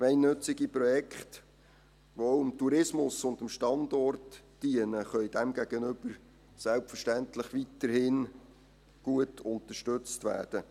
Gemeinnützige Projekte, die auch dem Tourismus und dem Standort dienen, können demgegenüber selbstverständlich weiterhin gut unterstützt werden.